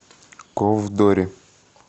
ковдоре